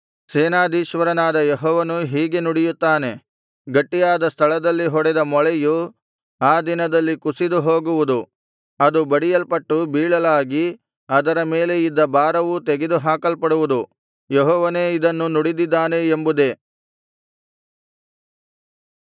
ಸೇನಾಧೀಶ್ವರನಾದ ಯೆಹೋವನು ಹೀಗೆ ನುಡಿಯುತ್ತಾನೆ ಗಟ್ಟಿಯಾದ ಸ್ಥಳದಲ್ಲಿ ಹೊಡೆದ ಮೊಳೆಯು ಆ ದಿನದಲ್ಲಿ ಕುಸಿದು ಹೋಗುವುದು ಅದು ಬಡಿಯಲ್ಪಟ್ಟು ಬೀಳಲಾಗಿ ಅದರ ಮೇಲೆ ಇದ್ದ ಭಾರವೂ ತೆಗೆದು ಹಾಕಲ್ಪಡುವುದು ಯೆಹೋವನೇ ಇದನ್ನು ನುಡಿದಿದ್ದಾನೆ ಎಂಬುದೇ